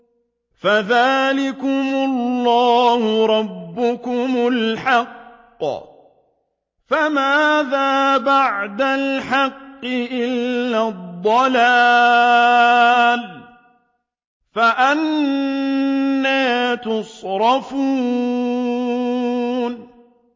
فَذَٰلِكُمُ اللَّهُ رَبُّكُمُ الْحَقُّ ۖ فَمَاذَا بَعْدَ الْحَقِّ إِلَّا الضَّلَالُ ۖ فَأَنَّىٰ تُصْرَفُونَ